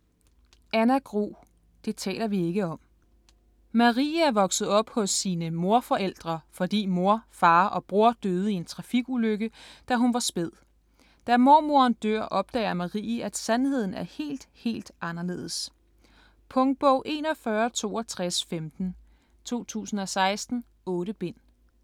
Grue, Anna: Det taler vi ikke om Marie er vokset op hos sine morforældre, fordi mor, far og bror døde i en trafikulykke, da hun var spæd. Da mormoren dør opdager Marie, at sandheden er helt, helt anderledes. Punktbog 416215 2016. 8 bind.